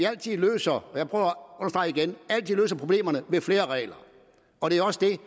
altid løser problemerne ved flere regler og det er også det